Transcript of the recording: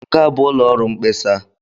Nke a bụ ụlọ ọrụ mkpesa.